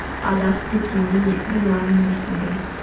адасып кеткендей боламын дейсің бе